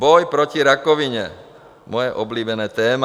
Boj proti rakovině, moje oblíbené téma.